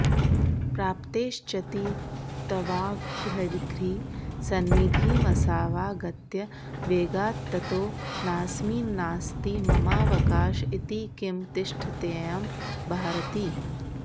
प्राप्तश्चेति तवाङ्घ्रिसन्निधिमसावागत्य वेगात्ततो नास्मिन्नास्ति ममावकाश इति किं तिष्ठत्ययं भारति